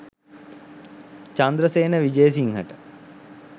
Chandrasena විජේසිංහට